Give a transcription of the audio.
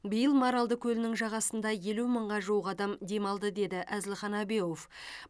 биыл маралды көлінің жағасында елу мыңға жуық адам демалды деді әзілхан әбеуов